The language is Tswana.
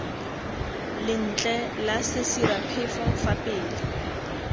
lentle la sesiraphefo fa pele